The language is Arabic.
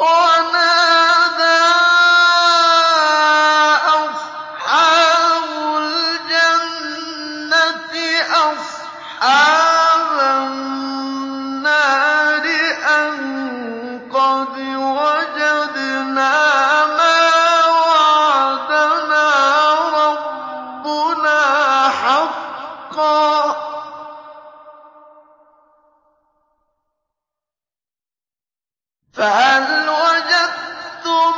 وَنَادَىٰ أَصْحَابُ الْجَنَّةِ أَصْحَابَ النَّارِ أَن قَدْ وَجَدْنَا مَا وَعَدَنَا رَبُّنَا حَقًّا فَهَلْ وَجَدتُّم